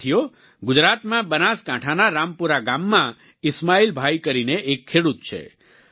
સાથીઓ ગુજરાતમાં બનાસકાંઠાના રામપુરા ગામમાં ઈસ્માઈલભાઈ કરીને એક ખેડૂત છે